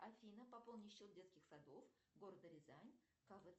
афина пополни счет детских садов города рязань